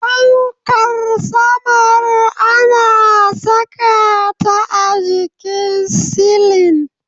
Fankar sama ana saka ta a jikin silin